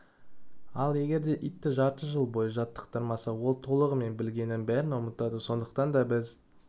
ал егерде итті жарты жыл бойы жаттықтырмаса ол толығымен білгенін бәрін ұмытады сондықтан да біз